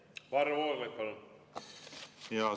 Varro Vooglaid, palun!